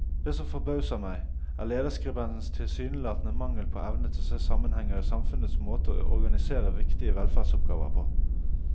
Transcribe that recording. Det som forbauser meg, er lederskribentens tilsynelatende mangel på evne til å se sammenhenger i samfunnets måte å organisere viktige velferdsoppgaver på.